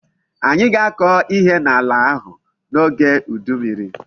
Anyi ga-ako ihe n'ala ahu n'oge udu mmiri